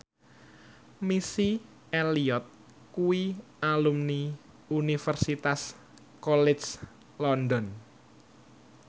Missy Elliott kuwi alumni Universitas College London